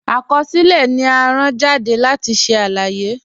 Akọsilẹ̀ ni à rán jàdé láti ṣẹ̀ aláyé.